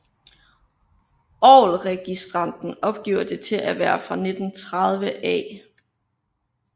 Orgelregistranten opgiver det til at være fra 1930 af I